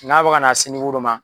N'a b'a ka n'a si dɔ ma